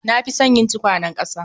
Na fi son yin tukwanen ƙasa